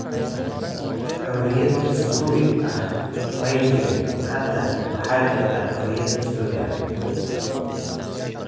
Xoriyad dastuuri ah may jirin. Hadda waxaa jirta xoriyad dastuuri ah.